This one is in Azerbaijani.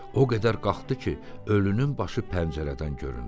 O qədər qalxdı ki, ölünün başı pəncərədən göründü.